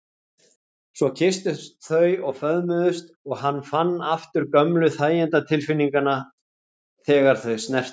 Svo kysstust þau og föðmuðust og hann fann aftur gömlu þæginda- tilfinninguna þegar þau snertust.